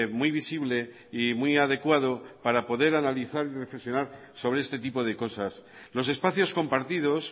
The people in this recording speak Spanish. muy visible y muy adecuado para poder analizar y reflexionar sobre este tipo de cosas los espacios compartidos